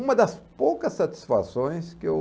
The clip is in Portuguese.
Uma das poucas satisfações que eu...